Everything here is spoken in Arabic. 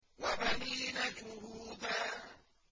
وَبَنِينَ شُهُودًا